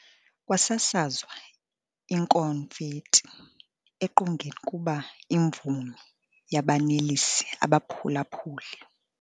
Kwasasazwa ikonfethi eqongeni kuba imvumi yabanelisa abaphulaphuli.